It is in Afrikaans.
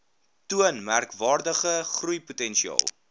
toon merkwaardige groeipotensiaal